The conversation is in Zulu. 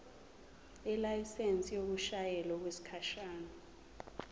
ilayisensi yokushayela okwesikhashana